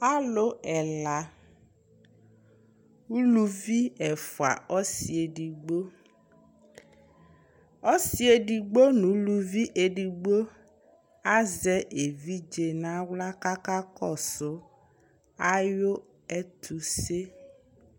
Alʋ ɛla ʋlʋvi ɛfʋa ɔsi edigbo ɔsi edigbo nʋ ʋlʋvibedigbo azɛ evidze nʋ aɣla kʋ aka kɔsʋ ɛtʋse